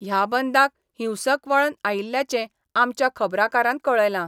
ह्या बंदाक हिंसक वळण आयिल्ल्याचें आमच्या खबराकारांन कळयलां.